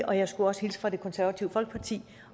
og jeg skulle hilse fra det konservative folkeparti